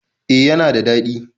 E, yana da daɗi.